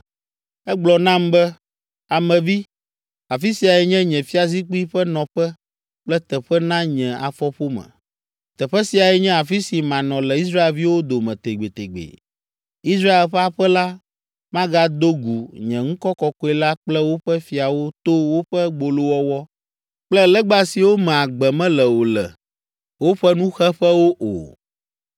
Egblɔ nam be, “Ame vi, afi siae nye nye fiazikpui ƒe nɔƒe kple teƒe na nye afɔƒome. Teƒe siae nye afi si manɔ le Israelviwo dome tegbetegbe. Israel ƒe aƒe la magado gu nye ŋkɔ kɔkɔe la kple woƒe fiawo to woƒe gbolowɔwɔ kple legba siwo me agbe mele o le woƒe nuxeƒewo o.